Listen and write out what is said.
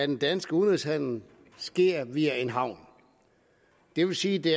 den danske udenrigshandel sker via en havn det vil sige at det